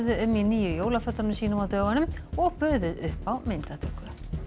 um í nýju jólafötunum sínum á dögunum og buðu upp á myndatöku